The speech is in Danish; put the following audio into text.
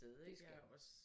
Det skal du